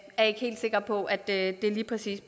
er ikke helt sikre på at det lige præcis